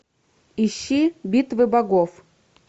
ищи битва богов